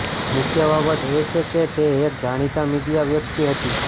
મુખ્ય બાબત એ છે કે તે એક જાણીતા મીડિયા વ્યક્તિ હતી